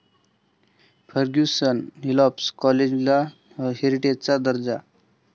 Fergusson आणि Hislop कॉलेजला 'हेरिटेज'चा दर्जा